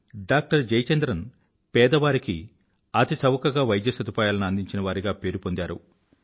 doctor Jayachandran పేదవారికి అతిచవకగా వైద్యసదుపాయాలను అందించినవారిగా పేరుపొందారు